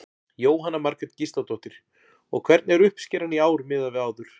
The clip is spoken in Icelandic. Jóhanna Margrét Gísladóttir: Og hvernig er uppskeran í ár miðað við áður?